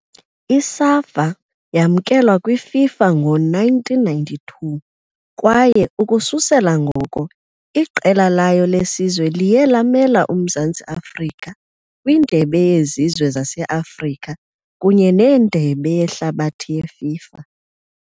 I-SAFA yamkelwa kwiFIFA ngo -1992 kwaye ukususela ngoko iqela layo lesizwe liye lamela uMzantsi Afrika kwiNdebe yeZizwe zase-Afrika kunye neNdebe yeHlabathi yeFIFA .